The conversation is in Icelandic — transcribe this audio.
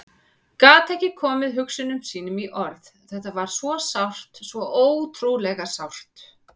Gat ekki komið hugsunum sínum í orð, þetta var svo sárt, svo ótrúlega sárt.